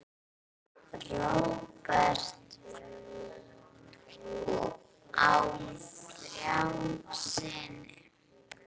Róbert á þrjá syni.